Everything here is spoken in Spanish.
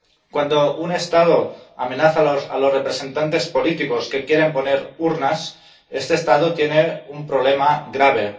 Cuando un Estado amenaza a los representantes políticos que quieren poner urnas, este Estado tiene un problema grave.